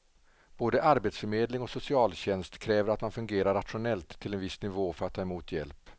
Både arbetsförmedling och socialtjänst kräver att man fungerar rationellt till en viss nivå för att få ta emot hjälp.